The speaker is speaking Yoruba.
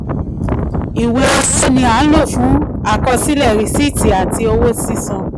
ìwé owó ni a nlo fún àkọsílẹ̀ risiiti ati sisan.